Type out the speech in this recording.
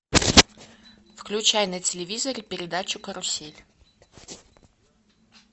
включай на телевизоре передачу карусель